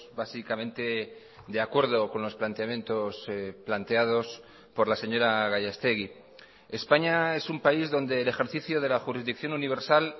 básicamente de acuerdo con los planteamientos planteados por la señora gallastegui españa es un país donde el ejercicio de la jurisdicción universal